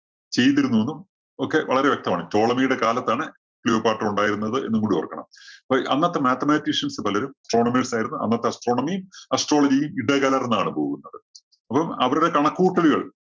ചെയ്തിരുന്നുവെന്നും ഒക്കെ വളരെ വ്യക്തമാണ്. ടോളമിയുടെ കാലത്താണ് ക്ലിയോപാട്ര ഒണ്ടായിരുന്നത് എന്നും കൂടി ഓര്‍ക്കണം. അപ്പോ അന്നത്തെ mathematicians പലരും astronomers ആയിരുന്നു. അന്നത്തെ astronomy യും, astrology യും ഇടകലര്‍ന്നാണ് പോകുന്നത്. അപ്പം അവരുടെ കണക്കു കൂട്ടലുകള്‍